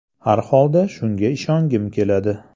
Har holda shunga ishongim keladi.